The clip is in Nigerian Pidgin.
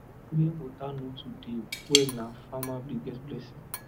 where water no too dey well na farmer biggest blessing